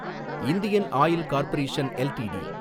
Indian Oil Corporation LTD